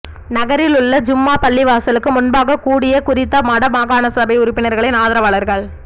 நகரில் உள்ள ஜும்மா பள்ளிவாசலுக்கு முன்பாக கூடிய குறித்த வடமாகாண சபை உறுப்பினரின் ஆதரவாளர்கள்